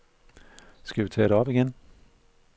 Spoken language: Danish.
Skal vi tage det op igen?